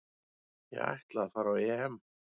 Ég ætla að fara á EM